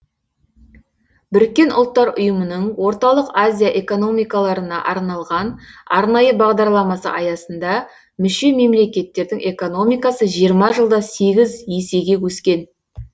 біріккен ұлттыр ұйымының орталық азия экономикаларына арналған арнайы бағдарламасы аясында мүше мемлекеттердің экономикасы жиырма жылда сегіз есеге өскен